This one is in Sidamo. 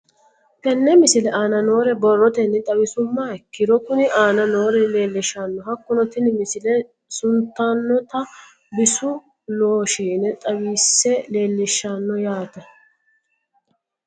Tenne misile aana noore borrotenni xawisummoha ikirro kunni aane noore leelishano. Hakunno tinni misile suniitanota bisu looshiine xawise leelishshano yaate.